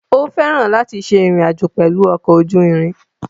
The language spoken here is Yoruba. Ó fẹ́ràn láti ṣe ìrìn àjò pẹ̀lú ọkọ̀ ojú irin.